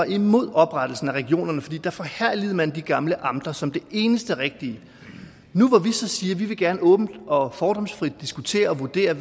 imod oprettelsen af regionerne for da forherligede man de gamle amter som det eneste rigtige nu hvor vi så siger at vi gerne åbent og fordomsfrit vil diskutere og vurdere